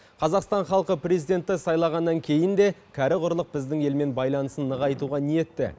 қазақстан халқы президентті сайлағаннан кейін де кәрі құрлық біздің елмен байланысын нығайтуға ниетті